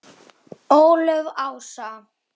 Ólöf Ása.